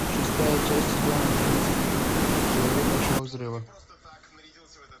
шестая часть сезона одиннадцать теория большого взрыва